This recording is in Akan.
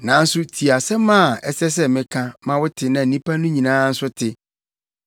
Nanso tie asɛm a ɛsɛ sɛ meka ma wote na nnipa no nyinaa nso te: